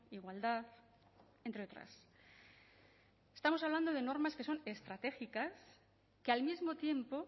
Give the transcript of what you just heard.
igualdad entre otras estamos hablando de normas que son estratégicas que al mismo tiempo